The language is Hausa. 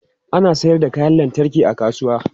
Ana sayar da kayan lantarki a kasuwa.